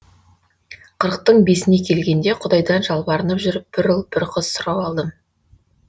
қырықтың бесіне келгенде құдайдан жалбарынып жүріп бір ұл бір қыз сұрап алдым